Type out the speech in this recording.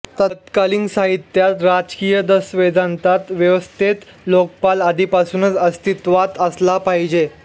तत्कालीन साहित्यात राजकीय दस्तावेजांत व्यवस्थेत लोकपाल आधीपासूनच अस्तित्वात असला पाहिजे